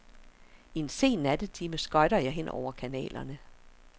I en sen nattetime skøjter jeg hen over kanalerne.